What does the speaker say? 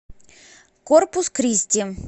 корпус кристи